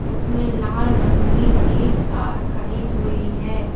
उसमें लाल रंग की एक कार खड़ी हुई है।